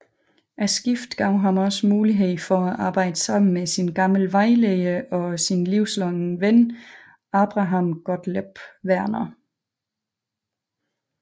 Skiftet gav ham også mulighed for at arbejde sammen med sin gamle vejleder og livslange ven Abraham Gottlob Werner